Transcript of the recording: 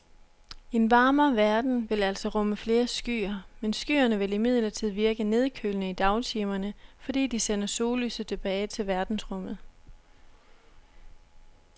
En varmere verden vil altså rumme flere skyer, men skyerne vil imidlertid virke nedkølende i dagtimerne, fordi de sender sollyset tilbage til verdensrummet.